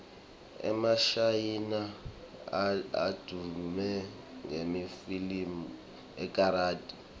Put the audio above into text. emashayina advume ngemafilimu ekarathi